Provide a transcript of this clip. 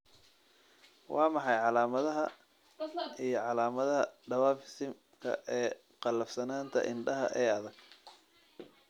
Waa maxay calaamadaha iyo calaamadaha Dwarfism-ka ee qallafsanaanta indhaha ee adag?